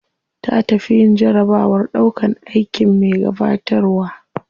Ta tafi yin jarabawar ɗaukan aikin me gabatarwa.